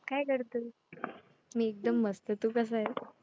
काय करतो? मी एकदम मस्त. तू कसा आहेस?